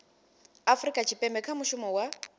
afurika tshipembe kha mushumo wa